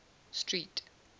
street